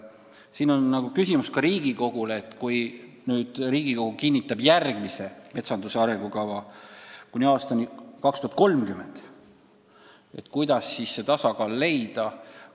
Siin on küsimus ka Riigikogule: kui te nüüd kinnitate järgmise metsanduse arengukava kuni aastani 2030, kuidas siis see tasakaal leida?